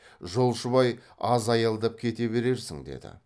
жолшыбай аз аялдап кете берерсің деді